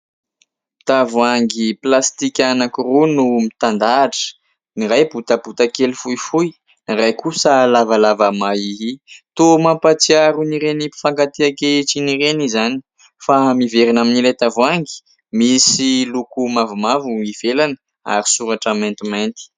Tavoahangy plastika anankiroa no mitandahatra : ny iray botabotakely fohifohy, ny iray kosa lavalava mahia. Toa mampahatsiaro ireny mpifankatia ankehitriny ireny izany ; fa miverina amin'ilay tavoahangy, misy loko mavomavo ivelany ary soratra mantimainty.